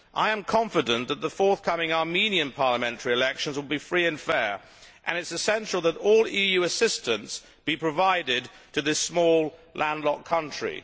I am confident that the forthcoming Armenian parliamentary elections will be free and fair, and it is essential that all EU assistance be provided to this small, land locked country.